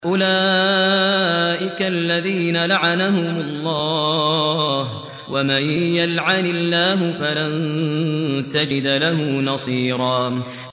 أُولَٰئِكَ الَّذِينَ لَعَنَهُمُ اللَّهُ ۖ وَمَن يَلْعَنِ اللَّهُ فَلَن تَجِدَ لَهُ نَصِيرًا